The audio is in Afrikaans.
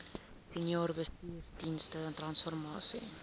senior bestuursdienste transformasie